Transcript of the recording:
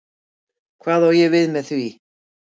Hvað á ég við með því?